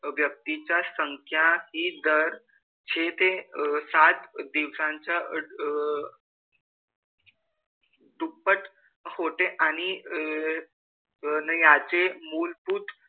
व्यक्तीची संख्या हि दर छे ते सात दिवसांच्या अह दुप्पट होते आणि अह अन याचे मूलभूत,